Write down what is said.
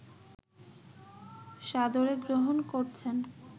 সাদরে গ্রহণ করছেন